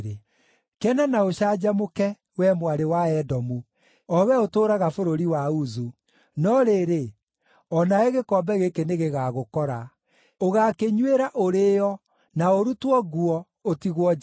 Kena na ũcanjamũke, wee Mwarĩ wa Edomu, o wee ũtũũraga bũrũri wa Uzu. No rĩrĩ, o nawe gĩkombe gĩkĩ nĩgĩgagũkora; ũgaakĩnyuĩra ũrĩĩo, na ũrutwo nguo, ũtigwo njaga.